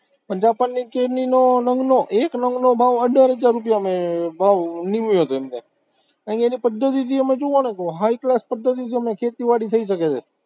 પણ જાપાનની કેરીનો નંગનો, એક નંગનો ભાવ અઢાર હજાર રૂપિયા ભાવ મેં ભાવ નિમયોજન થાય, કારણ કે એની પદ્ધતિ તમે જુઓને high class પદ્ધતિથી ખેતીવાડી થઇ શકે છે.